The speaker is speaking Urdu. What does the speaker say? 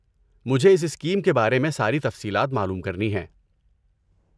مجھے اس اسکیم کے بارے میں ساری تفصیلات معلوم کرنی ہیں۔